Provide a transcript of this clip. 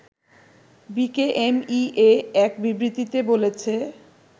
BKMEA এক বিবৃতিতে বলেছে